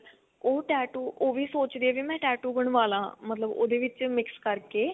ਉਹ tattoo ਉਹ ਵੀ ਸੋਚਦੀ ਆ ਵੀ ਮੈਂ ਵੀ tattoo ਬਣਵਾ ਲਾਂ ਮਤਲਬ ਉਹਦੇ ਵਿੱਚ mix ਕਰਕੇ